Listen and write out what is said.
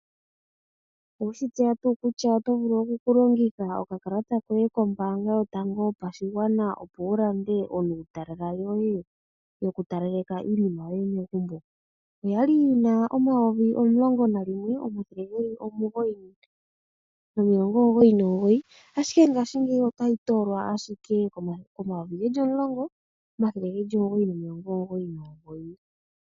Oweshi tseya tuu kutya oto vulu oku longitha okakalata koye koombaanga yotango yopashigwana opo wu lande iitakaleko yoye? Oya li yi na omayovi geli omulongo nayimwe, omathele ge li omugoyi nomilongo omugoyi nomugoyi. Ashike paife otayi toolwa owala komayovi omulongo, omathele omugoyi nomilongo omugoyi.